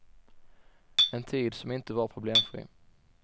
En tid som inte var problemfri.